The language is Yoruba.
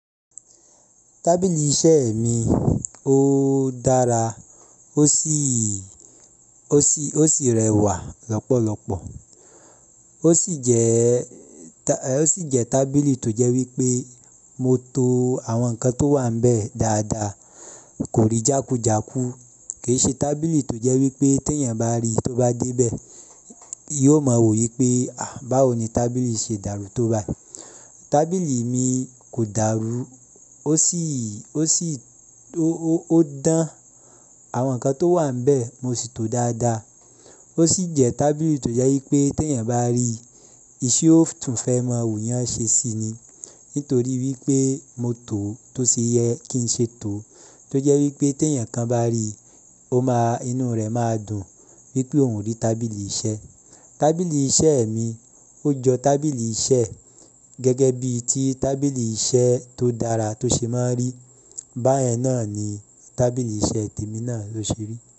Tábìlì iṣẹ́ mi ó dára, ó sì, ó sì, ó sì rẹwà lọ́pọ̀lọpọ̀. Ó sì jẹ́, ó sì jẹ́ tábìlì tó jẹ́ wípé mo to àwọn nǹkan tó wà níbẹ̀ dáadaa, kò rí jákú jáku. Kìṣe tábìlì tó jẹ́ wípé tí èèyàn bá ríi tó bá dé bẹ̀, yóò mọ wò yí pé, báwo ni tábìlì ṣe dàrú tó báyi? Tábìlì mi kò dàrú, ó sì, ó sì, ó dán àwọn ǹkan tó wà níbẹ̀ mo sì to dáadaa. Ó sì jẹ́ tábìlì tó jẹ́ wípé tí èèyàn bá ríi, ìṣe ó tún fẹ́ mọ wù eyán ṣe síi ni. Nítorí wípé mo tò ó tó ṣe yẹ kí n ṣe tò ó, tó jẹ́ wípé tí èèyàn kan bá ríi, ó máa, inú rẹ̀ máa dùn wípé òún rí tábìlì iṣẹ́. Tábìlì iṣẹ́ mi ó jọ tábìlì iṣẹ́ gẹ́gẹ́ bí i tí tábìlì iṣẹ́ tó dára tó ṣe máa ń rí. Báyẹn náà ni tábìlì iṣẹ́ tèmi náà ló ṣe rí.